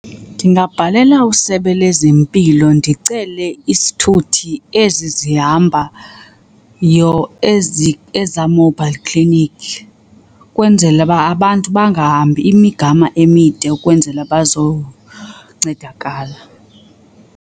Ndingabhalela usebe lezempilo ndicele isithuthi ezi zihambayo ezi ezaa mobile clinic, kwenzela uba abantu bangahambi imigama emide ukwenzela bazoncedakala.